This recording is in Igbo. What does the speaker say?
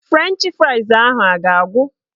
Frenchị frais ahụ a ga-agwụ?